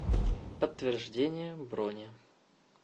подтверждение брони